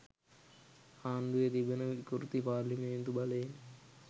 ආණ්ඩුවේ තිබෙන විකෘති පාර්ලිමේන්තු බලයෙන්